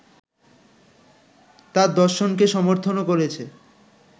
তার দর্শনকে সমর্থনও করেছে